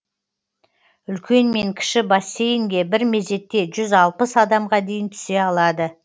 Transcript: үлкен мен кіші бассейнге бір мезетте жүз алпыс адамға дейін түсе алады